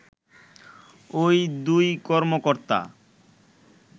ওই দুই কর্মকর্তা